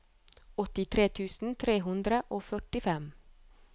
åttitre tusen tre hundre og førtifem